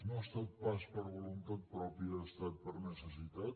no ha estat pas per voluntat pròpia ha estat per necessitat